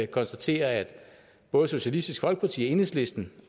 konstatere at både socialistisk folkeparti og enhedslisten